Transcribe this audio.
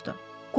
Homs soruşdu.